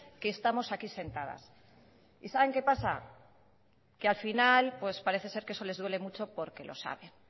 que estamos aquí sentadas y saben qué pasa que al final pues parece ser que eso les duele mucho porque lo saben